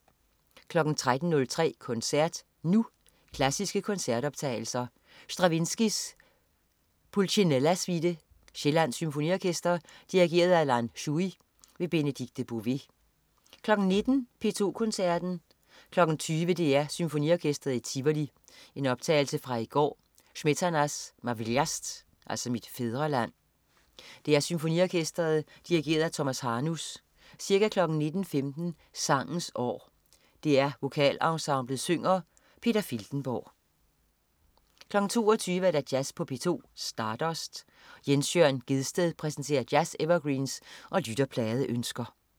13.03 Koncert Nu. Klassiske koncertoptagelser. Stravinsky: Pulcinella Suite. Sjællands Symfoniorkester. Dirigent: Lan Shui. Benedikte Bové 19.00 P2 Koncerten. 20.00 DR Symfoniorkestret i Tivoli. I en optagelse fra i går. Smetana: Ma Vlast (Mit fædreland). DR Symfoniorkestret. Dirigent: Tomas Hanus. Ca. 19.15 Sangens År. DR Vokalensemblet synger. Peter Filtenborg 22.00 Jazz på P2. Stardust. Jens Jørn Gjedsted præsenterer jazz-evergreens og lytterpladeønsker